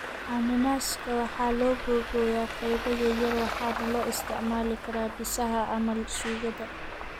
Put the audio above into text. Cananaaska waxaa la googooyaa qaybo yaryar waxaana loo isticmaali karaa bisaha ama suugada.